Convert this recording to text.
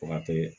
O ka teli